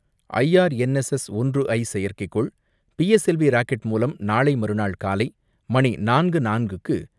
IRNSS ஒன்று ஐ செயற்கைக்கோள், B S L V rocket மூலம் நாளை மறுநாள் காலை மணி நாலு மணி நாலு நிமிடங்களுக்கு ஸ்ரீஹரிகோட்டா சத்தீஸ்தவான் விண்வெளி மையத்தில் இருந்து ஏவப்படுகிறது.